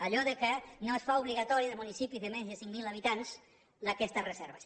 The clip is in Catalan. allò que no es fan obligatòries en els municipis de més de cinc mil habitants aquestes reserves